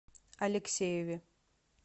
алексееве